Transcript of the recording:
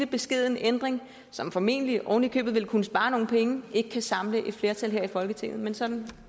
beskeden ændring som formentlig ovenikøbet vil kunne spares nogle penge ikke kan samle et flertal i folketinget men sådan